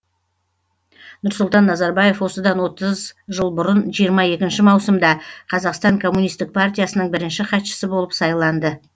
нұрсұлтан назарбаев осыдан отыз жыл бұрын жиырма екінші маусымда қазақстан коммунистік партиясының бірінші хатшысы болып сайланды